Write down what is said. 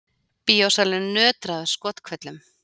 Bíósalurinn nötraði af skothvellum.